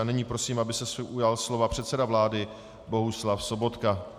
A nyní prosím, aby se ujal slova předseda vlády Bohuslav Sobotka.